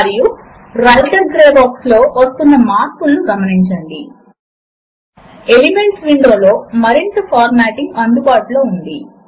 ఇక్కడ వివిధ relation elements ను మీరు గమనించండి a is equal to b అనే మొదటి దానిని ఇప్పుడు ముందుగా చూద్దాము